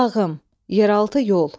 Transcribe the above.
Lağım, yeraltı yol.